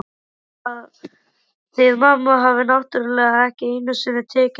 Þið mamma hafið náttúrlega ekki einu sinni tekið eftir því.